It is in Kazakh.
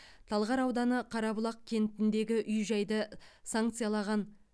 талғар ауданы қарабұлақ кентіндегі үй жайды санкциялаған